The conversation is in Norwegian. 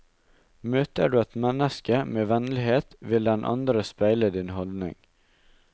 Møter du et menneske med vennlighet, vil den andre speile din holdning.